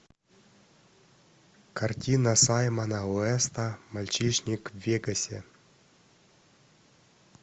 картина саймона уэста мальчишник в вегасе